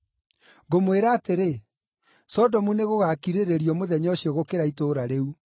Ngũmwĩra atĩrĩ, Sodomu nĩgũgakirĩrĩrio mũthenya ũcio gũkĩra itũũra rĩu.